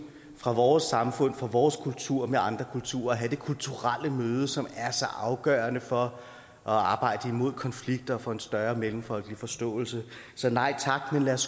fra vores samfund fra vores kultur med andre kulturer og have det kulturelle møde som er så afgørende for at arbejde imod konflikter og for en større mellemfolkelig forståelse så nej tak men lad os